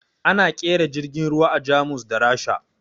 Ana ƙera jirgin ruwa a Jamus da Rasha